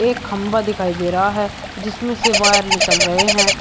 एक खंभा दिखाई दे रहा है जिसमें से वायर निकल रहे हैं।